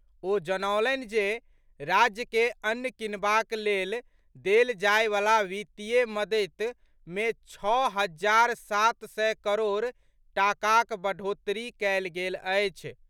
ओ जनौलनि जे राज्य के अन्न किनबाक लेल देल जायवला वित्तीय मददि मे छओ हजार सात सय करोड़ टाकाक बढ़ोतरी कयल गेल अछि।